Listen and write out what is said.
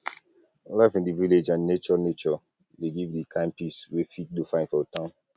life in di village and nature nature dey give di kind peace wey fit no find for town